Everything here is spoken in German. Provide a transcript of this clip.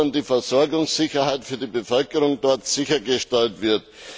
dass die Versorgungssicherheit für die Bevölkerung dort sichergestellt wird.